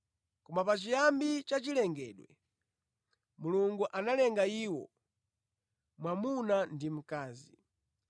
Koma pachiyambi cha chilengedwe, Mulungu ‘analenga iwo, mwamuna ndi mkazi.’